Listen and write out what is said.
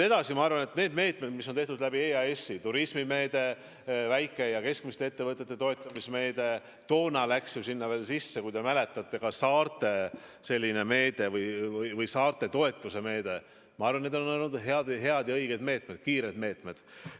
Ma arvan, et need meetmed, mis on tehtud EAS-i kaudu – turismimeede, väike- ja keskmiste ettevõtete toetamise meede, toona läks sinna sisse, kui te mäletate, saarte toetuse meede –, on olnud head ja õiged meetmed, kiired meetmed.